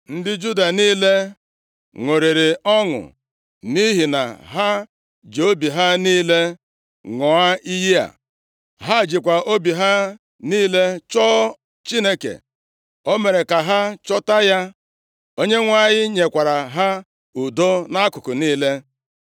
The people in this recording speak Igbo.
Ndị Juda niile ṅụrịrị ọṅụ nʼihi na ha ji obi ha niile ṅụọ iyi a. Ha jikwa obi ha niile chọọ Chineke. O mere ka ha chọta ya. Onyenwe anyị nyekwara ha udo nʼakụkụ niile.